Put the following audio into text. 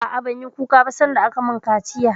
A'a, ban yi kuka ba sanda aka mun kaciya